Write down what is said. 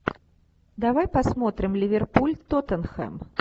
давай посмотрим ливерпуль тоттенхэм